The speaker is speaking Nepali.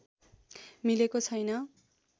मिलेको छैन